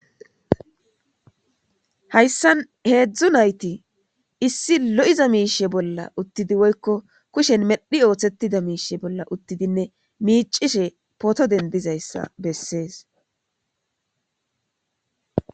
Hayssan heedzdzu nayti issi lo'iza miishshe bolla uttidi woykko kushen medhi oothetida miisheza bolla uttidinne miicishe poto denddizayssa bessees.